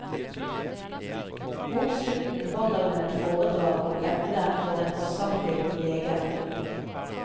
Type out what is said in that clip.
Mot slutten holder hun et foredrag om emnet for en forsamling leger.